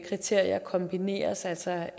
kriterier kombineres altså